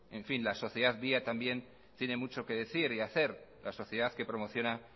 en fin la sociedad via también tiene mucho que decir y hacer la sociedad que promociona